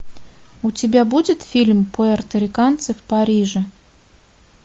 у тебя будет фильм пуэрториканцы в париже